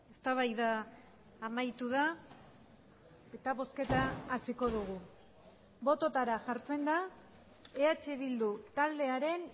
eztabaida amaitu da eta bozketa hasiko dugu bototara jartzen da eh bildu taldearen